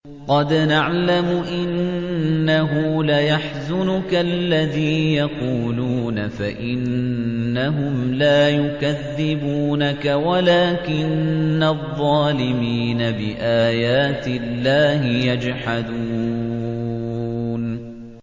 قَدْ نَعْلَمُ إِنَّهُ لَيَحْزُنُكَ الَّذِي يَقُولُونَ ۖ فَإِنَّهُمْ لَا يُكَذِّبُونَكَ وَلَٰكِنَّ الظَّالِمِينَ بِآيَاتِ اللَّهِ يَجْحَدُونَ